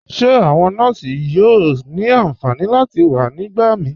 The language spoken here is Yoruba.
Ṣe awọn nọọ̀ṣì yóò ni ánfànì láti wà nígbàmí?